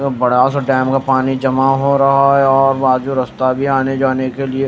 बड़ा सा डैम का पानी जमा हो रहा है और बाजू रास्ता भी आने जाने के लिए--